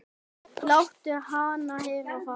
Láttu hana heyra það